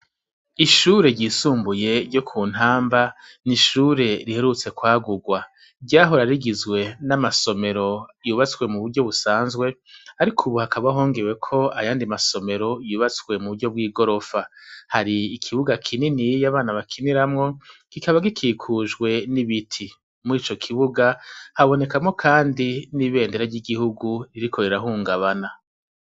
Ishure ryisumbuye ryo ku ntamba ni ishure riherutse kwagurwa ryahorarigizwe n'amasomero yubatswe mu buryo busanzwe, ariko, ubu hakabahongewe ko ayandi masomero yubatswe mu buryo bw'i gorofa hari ikibuga kinini yiyo abana bakiniramwo gikaba gikikujwe n'ibiti muri ico kibuga habonekamwo, kandi n'ibendera ry'igihugu iriko rirahungabana.